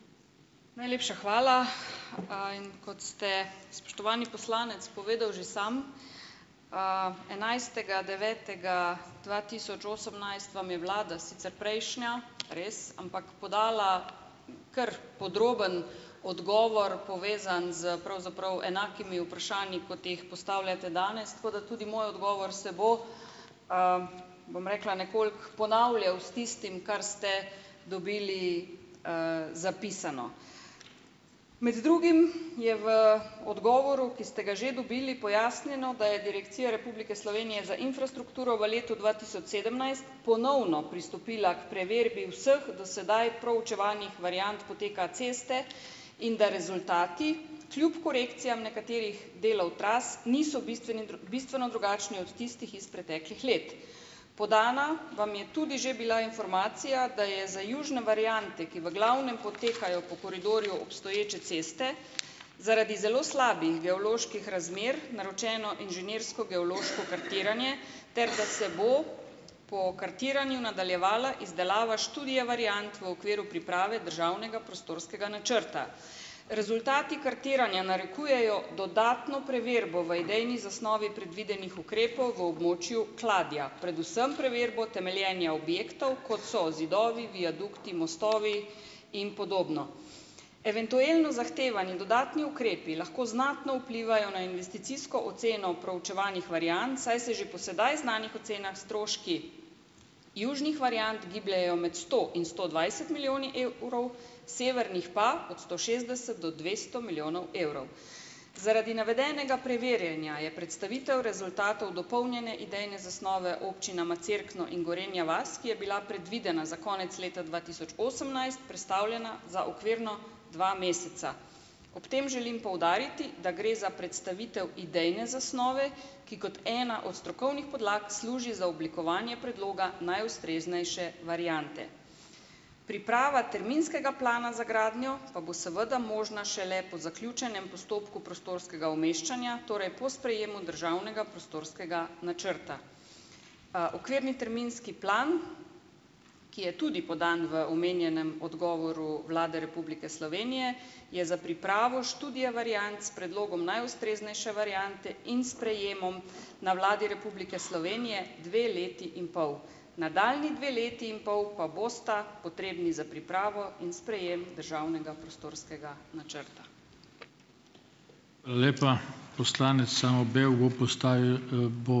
Najlepša hvala. in kot ste spoštovani poslanec povedal že sam, enajstega devetega dva tisoč osemnajst vam je vlada, sicer prejšnja, res, ampak podala kar podroben odgovor, povezan s pravzaprav enakimi vprašanji, kot jih postavljate danes, tako da tudi moj odgovor se bo, bom rekla, nekoliko ponavljal s tistim, kar ste dobili, zapisano. Med drugim je v odgovoru, ki ste ga že dobili, pojasnjeno, da je Direkcija Republike Slovenije za infrastrukturo v letu dva tisoč sedemnajst ponovno pristopila k preverbi vseh do sedaj proučevanih variant poteka ceste in da rezultati kljub korekcijam nekaterih delov tras niso bistvene bistveno drugačni od tistih iz preteklih let. Podana vam je tudi že bila informacija, da je za južne variante, ki v glavnem potekajo po koridorju obstoječe ceste, zaradi zelo slabih geoloških razmer naročeno inženirsko geološko kartiranje, ter da se bo po kartiranju nadaljevala izdelava študije variant v okviru priprave državnega prostorskega načrta. Rezultati kartiranja narekujejo dodatno preverbo v idejni zasnovi predvidenih ukrepov v območju Kladja, predvsem preverbo temeljenja objektov kot so zidovi, viadukti, mostovi in podobno. Eventualno zahtevani dodatni ukrepi lahko znatno vplivajo na investicijsko oceno proučevanih variant, saj se že po sedaj znanih ocenah stroški južnih variant gibljejo med sto in sto dvajset milijoni evrov, severnih pa od sto šestdeset do dvesto milijonov evrov. Zaradi navedenega preverjanja je predstavitev rezultatov dopolnjene idejne zasnove občinama Cerkno in Gorenja vas, ki je bila predvidena za konec leta dva tisoč osemnajst, prestavljena za okvirno dva meseca. Ob tem želim poudariti, da gre za predstavitev idejne zasnove, ki kot ena od strokovnih podlag služi za oblikovanje predloga najustreznejše variante. Priprava terminskega plana za gradnjo pa bo seveda možna šele po zaključenem postopku prostorskega umeščanja, torej po sprejemu državnega prostorskega načrta. Okvirni terminski plan, ki je tudi podan v omenjenem odgovoru Vlade Republike Slovenije, je za pripravo študije variant s predlogom najustreznejše variante in sprejemom na Vladi Republike Slovenije dve leti in pol. Nadaljnji dve leti in pol pa bosta potrebni za pripravo in sprejem državnega prostorskega načrta.